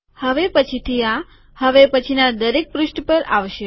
હવે પછીથી આ હવે પછીના દરેક પુષ્ઠ પર આવશે